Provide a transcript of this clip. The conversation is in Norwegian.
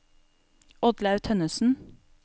Oddlaug Tønnessen